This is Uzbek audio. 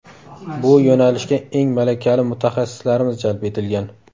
Bu yo‘nalishga eng malakali mutaxassislarimiz jalb etilgan.